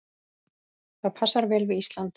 Það passar vel við Ísland.